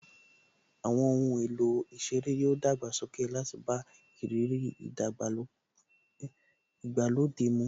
Àwọn ohun èlò ìṣeré yoo dàgbàsókè láti bá ìrírí ìgbàlódé mu